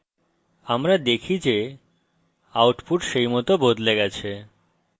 আমরা দেখি যে output সেইমত বদলে গেছে